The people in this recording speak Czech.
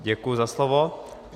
Děkuji za slovo.